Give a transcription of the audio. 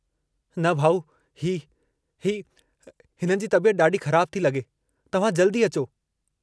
न भाउ ही ही... हिननि जी तबियत ॾाढी ख़राबु थी लॻे तव्हां जल्दी अचो।